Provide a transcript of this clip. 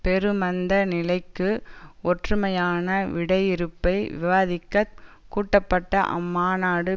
பெருமந்த நிலைக்கு ஒற்றுமையான விடையிறுப்பை விவாதிக்கக் கூட்டப்பட்ட அம்மாநாடு